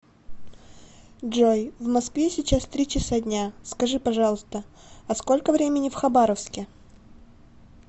джой в москве сейчас три часа дня скажи пожалуйста а сколько времени в хабаровске